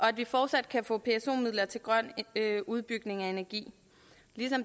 at vi fortsat kan få pso midler til grøn udbygning af energi